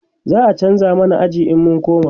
za'a chanza mana aji in mun koma